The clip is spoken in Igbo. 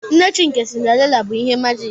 Nne chi nke Cinderella bụ ihe majiki.